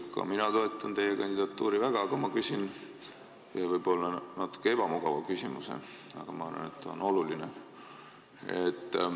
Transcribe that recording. Ka mina toetan teie kandidatuuri väga, aga ma küsin võib-olla natuke ebamugava küsimuse, sest see on minu arvates oluline.